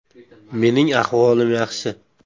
Mening ahvolim yaxshi.